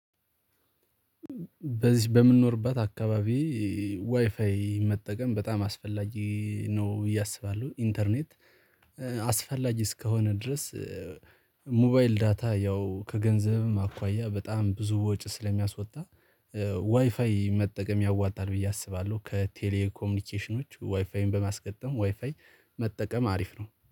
በዚህ በምንኖርባት አካባቢ ዋይፋይ መጠቀም በጣም አስፈላጊ ነው ብዬ እስባለሁ። ኢንተርኔት አስፈላጊ እስከሆነ ድረስ። ሞባይል ዳታ ያው ከገንዘብም አኳያ በጣም ብዙ ወጪ ስለሚያስወጣ ዋይፋይ መጠቀም ያዋጣል ብዬ አስባለሁ። ከቴሌ ኮሚኒኬሽኖች ዋይፋይን በማስገጠም ዋይፋይ መጠቀም አሪፍ ነው